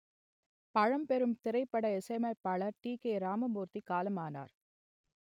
பழம்பெரும் திரைப்பட இசையமைப்பாளர் டி கே இராமமூர்த்தி காலமானார்